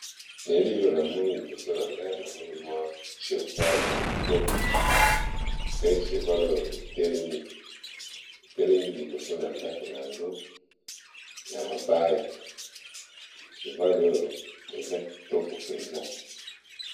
Elili oyo namoni liboso na ngai namoni mwa chevale ya kitoko pe chevalo etelemi liboso na ndako na yango ya mabaya chevale oyo eza kitoko mpenza